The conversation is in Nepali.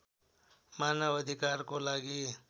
मानव अधिकारको लागि